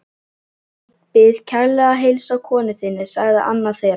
Ég bið kærlega að heilsa konu þinni sagði annar þeirra.